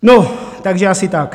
No, takže asi tak.